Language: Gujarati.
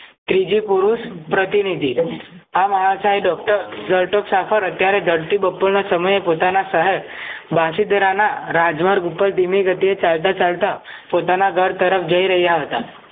ત્રીજી પુરુષ પ્રતિનિધિ આવા આસાઇડ ડોક્ટર જરતોક શાફર અત્યારે ધરતી બહપોરના શહેર પોતાના શહેર બશીદરાના રાજમર્ગ ધીમી ગતિએ ચાલતા ચાલતા પોતાના ઘર તરફ જય રહ્યા હતા